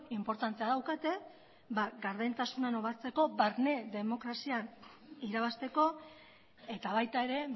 inportantea daukate gardentasuna nobatzeko barne demokrazian irabazteko eta baita ere